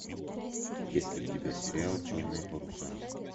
есть ли у тебя сериал черные паруса